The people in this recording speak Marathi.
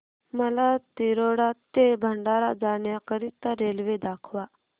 मला तिरोडा ते भंडारा जाण्या करीता रेल्वे दाखवा